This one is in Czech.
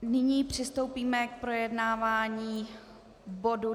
Nyní přistoupíme k projednávání bodu